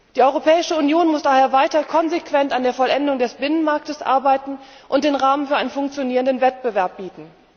Die Europäische Union muss daher weiter konsequent an der Vollendung des Binnenmarkts arbeiten und den Rahmen für einen funktionierenden Wettbewerb bieten.